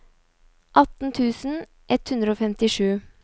atten tusen ett hundre og femtisju